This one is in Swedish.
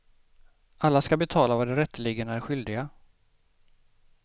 Alla ska betala vad de rätteligen är skyldiga.